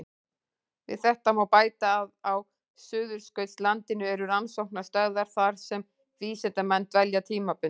Við þetta má bæta að á Suðurskautslandinu eru rannsóknarstöðvar þar sem vísindamenn dvelja tímabundið.